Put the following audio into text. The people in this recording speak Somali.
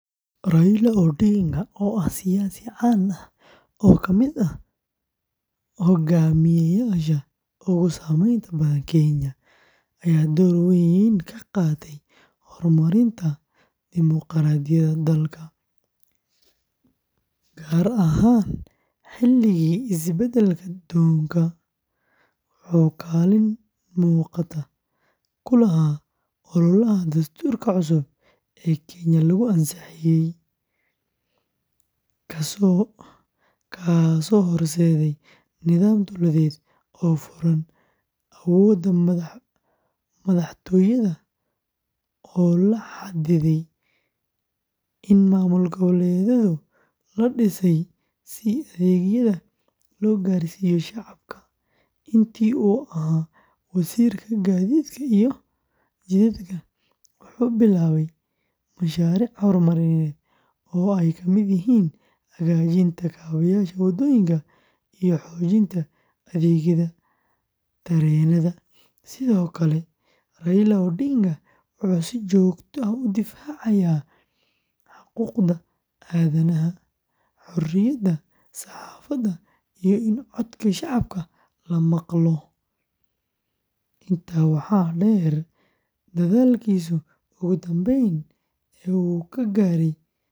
Raila Odinga, oo ah siyaasi caan ah oo ka mid ah hogaamiyeyaasha ugu saameynta badan Kenya, ayaa door weyn ka qaatay horumarinta dimuqraadiyadda dalka, gaar ahaan xilligii isbeddel-doonka. Wuxuu kaalin muuqata ku lahaa ololaha dastuurka cusub ee Kenya lagu ansixiyay, kaasoo horseeday nidaam dowladeed oo furan, awoodda madaxtooyada oo la xaddiday, iyo maamul-goboleedyo la dhisay si adeegyada loo gaarsiiyo shacabka. Intii uu ahaa Wasiirka Gaadiidka iyo Jidadka, wuxuu bilaabay mashaariic horumarineed oo ay ka mid yihiin hagaajinta kaabeyaasha waddooyinka iyo xoojinta adeegyada tareenada. Sidoo kale, Raila Odinga wuxuu si joogto ah u difaacayay xuquuqda aadanaha, xoriyadda saxaafadda, iyo in codka shacabka la maqlo. Intaa waxaa dheer, dadaalkiisii ugu dambeeyay ee uu ku gaaray heshiiska nabadeed.